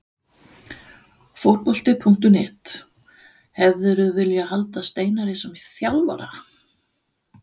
Fótbolti.net: Hefðirðu viljað halda Steinari sem þjálfara?